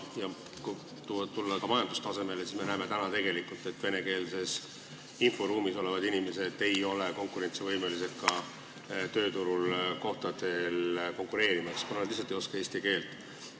Kui tulla majandustasemele, siis me näeme täna, et venekeelses inforuumis elavad inimesed ei ole tööturul konkurentsivõimelised, kuna nad lihtsalt ei oska eesti keelt.